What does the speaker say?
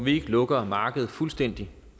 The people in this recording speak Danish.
vi ikke lukker markedet fuldstændig